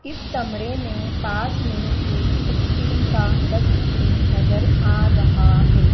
इस कमरे में पास में एक स्टील का डस्टबिन नजर आ रहा है।